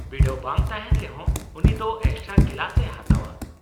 -ᱵᱤᱰᱟᱹᱣ ᱵᱟᱝ ᱛᱟᱦᱮᱸᱱ ᱨᱮᱦᱚᱸ ᱩᱱᱤ ᱫᱚ ᱮᱠᱥᱴᱨᱟ ᱠᱮᱞᱟᱥ ᱮ ᱦᱟᱛᱟᱣᱼᱟ ᱾